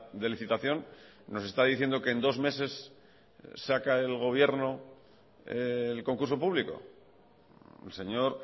de licitación nos está diciendo que en dos meses saca el gobierno el concurso público el señor